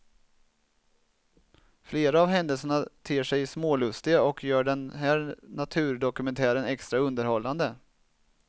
Flera av händelserna ter sig smålustiga och gör den här naturdokumentären extra underhållande.